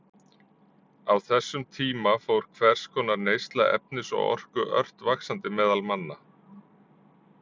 Á þessum tíma fór hvers konar neysla efnis og orku ört vaxandi meðal manna.